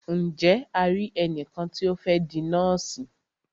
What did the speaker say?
Ǹje a ri ẹnìkan tí o fẹ́ di nọ́ọ̀sì?